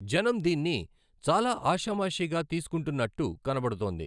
జనం దీన్ని చాలా ఆషామాషీగా తీసుకుంటున్నట్టు కనబడుతోంది.